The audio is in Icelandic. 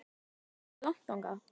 Veistu hvað er langt þangað?